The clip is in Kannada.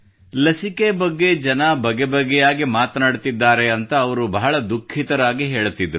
ಲಸಿಕೆ ಬಗ್ಗೆ ಜನರು ಬಗೆಬಗೆಯಾಗಿ ಮಾತನಾಡುತ್ತಿದ್ದಾರೆ ಎಂದು ಅವರು ಬಹಳ ದುಖಿಃತರಾಗಿ ಹೇಳುತ್ತಿದ್ದರು